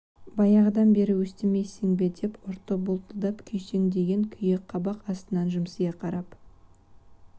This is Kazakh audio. баяғыдан бері өстімейсің бе деген ұрты бұлтылдап күйсеңдеген күйі қабақ астынан жымсия қарап